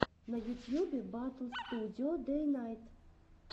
на ютьюбе батл студио дэйнайт